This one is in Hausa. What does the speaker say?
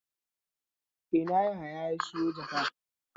A ina Yahaya ne ya sayo jaka?